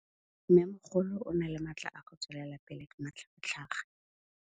Mmêmogolo o na le matla a go tswelela pele ka matlhagatlhaga.